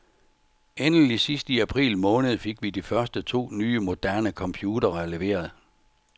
Endelig sidst i april måned fik vi de første to nye moderne computere leveret.